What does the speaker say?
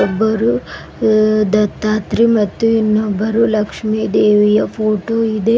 ಒಬ್ಬರು ದತ್ತಾತ್ರಿ ಇನ್ನೊಬ್ಬರು ಲಕ್ಷ್ಮಿ ದೇವಿಯ ಫೋಟೋ ಇದೆ.